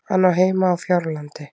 Hann á heima á Fjárlandi.